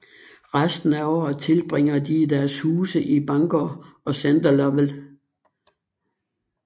Resten af året tilbringer de i deres huse i Bangor og Center Lovell